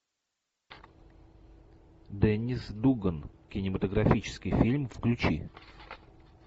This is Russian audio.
деннис дуган кинематографический фильм включи